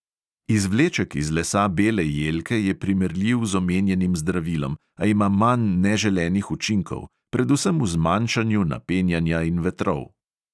Izvleček iz lesa bele jelke je primerljiv z omenjenim zdravilom, a ima manj neželenih učinkov, predvsem v zmanjšanju napenjanja in vetrov.